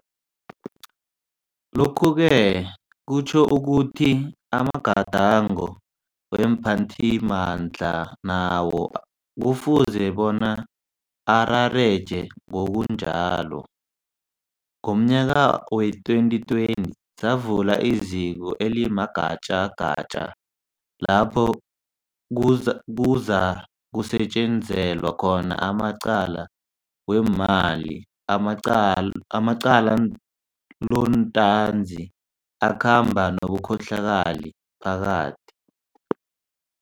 Lokhu-ke kutjho ukuthi amagadango weemphathi mandla nawo kufuze bona arareje ngokunjalo. Ngomnyaka wee2020, savula iZiko elimaGatjagatja lapho kuzakusetjenzelwa khona amacala weemali amaqalontanzi, akhamba nobukhohlakali phakathi.